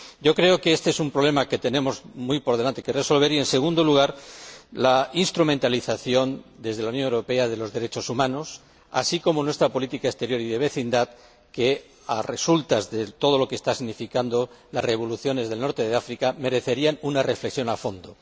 Yo creo que este es un problema que tenemos que resolver antes que cualquier otro, y, en segundo lugar, la instrumentalización desde la Unión Europea de los derechos humanos, así como nuestra política exterior y de vecindad, que, a resultas de todo lo que están significando las revoluciones en el norte de África, merecería una reflexión a fondo.